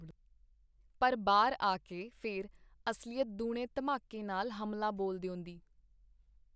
ਪਰ ਬਾਹਰ ਆ ਕੇ ਫੇਰ ਅਸਲੀਅਤ ਦੂਣੇ ਧਮਾਕੇ ਨਾਲ ਹਮਲਾ ਬੋਲ ਦਿਓਂਦੀ.